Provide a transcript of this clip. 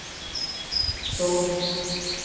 Stord